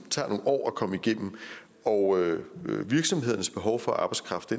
tager nogle år at komme igennem og virksomhedernes behov for arbejdskraft